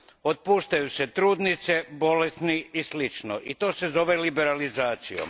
Otpuštaju se trudnice, bolesni i slično i to se zove liberalizacijom.